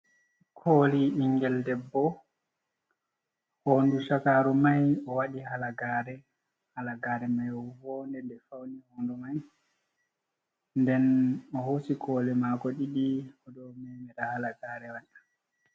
Koli ɓingel debbo hondu shakaru mai o waɗi halagare halagare mai wounde de fauni hondu mai nden o hosi koli mako ɗiɗi o ɗo memida halagare watta.